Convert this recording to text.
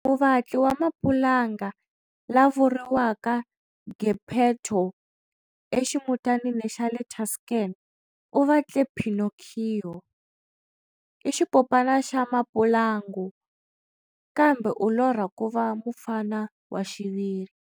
Muvatli wa mapulanga la vuriwaka Geppetto eximutanini xa le Tuscan u vatle Pinocchio. I xipopana xa mapulanga kambe u lorha ku va mufana wa xiviri.